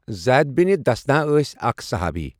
زید bin Dathina ٲسؠ اَکھ صُحابی۔